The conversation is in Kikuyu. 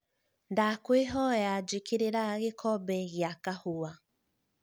ndakwīhoya jīkīrīra gīkombe gīa kahūwa